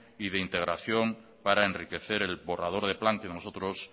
y de integración para enriquecer el borrador de plan que nosotros